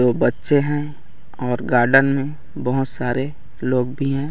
दो बच्चे हैं और गार्डन में बहुत सारे लोग भी हैं।